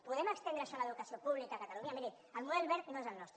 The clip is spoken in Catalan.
podem estendre això a l’educació pública a catalunya miri el model wert no és el nostre